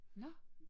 Nåh